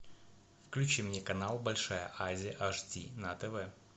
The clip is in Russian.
включи мне канал большая азия аш ди на тв